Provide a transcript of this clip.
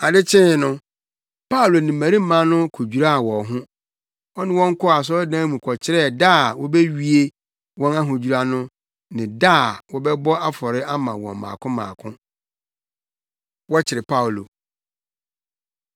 Ade kyee no, Paulo ne mmarima no kodwiraa wɔn ho. Ɔne wɔn kɔɔ asɔredan mu kɔkyerɛɛ da a wobewie wɔn ahodwira no ne da a wɔbɛbɔ afɔre ama wɔn mmaako mmaako. Wɔkyere Paulo